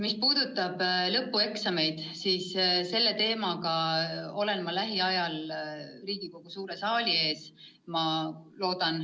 Mis puudutab lõpueksameid, siis selle teemaga olen ma loodetavasti lähiajal Riigikogu suure saali ees.